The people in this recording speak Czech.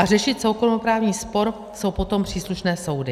A řešit soukromoprávní spor jsou potom příslušné soudy.